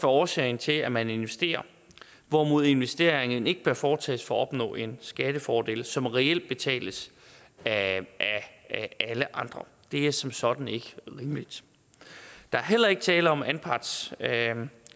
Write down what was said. årsagen til at man investerer hvorimod investeringen ikke bør foretages for at opnå en skattefordel som reelt betales af alle andre det er som sådan ikke rimeligt der er heller ikke tale om at anpartshaverne